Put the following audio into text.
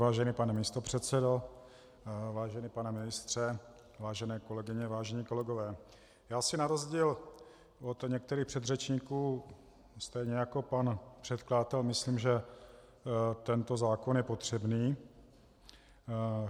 Vážený pane místopředsedo, vážený pane ministře, vážené kolegyně, vážení kolegové, já si na rozdíl od některých předřečníků stejně jako pan předkladatel myslím, že tento zákon je potřebný.